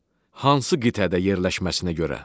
Hansı qitədə yerləşməsinə görə.